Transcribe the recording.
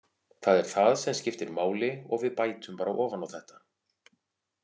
Það er það sem skiptir máli og við bætum bara ofan á þetta.